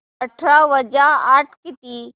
अठरा वजा आठ किती